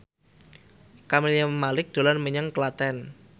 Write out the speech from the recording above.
Camelia Malik dolan menyang Klaten